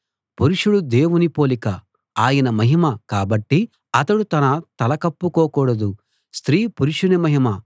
పురుషుడు దేవుని పోలిక ఆయన మహిమ కాబట్టి అతడు తన తల కప్పుకోకూడదు స్త్రీ పురుషుని మహిమ